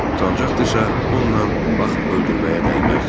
Əgər utancaqdısa, ondan vaxt öldürməyə dəyməzdi.